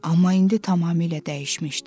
Amma indi tamamilə dəyişmişdi.